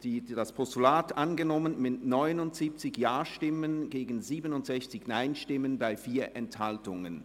Sie haben das Postulat angenommen mit 79 Ja-Stimmen gegen 67 Nein-Stimmen bei 4 Enthaltungen.